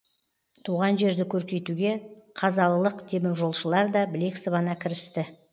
туған жерді көркейтуге қазалылық теміржолшылар да білек сыбана кірісті